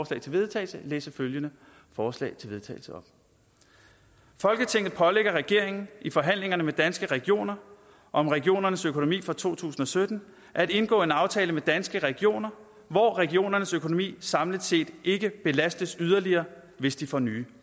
til vedtagelse oplæse følgende forslag til vedtagelse folketinget pålægger regeringen i forhandlingerne med danske regioner om regionernes økonomi for to tusind og sytten at indgå en aftale med danske regioner hvor regionernes økonomi samlet set ikke belastes yderligere hvis de får nye